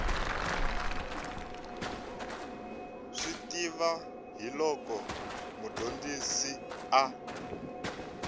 swi tiva hiloko mudyondzisi a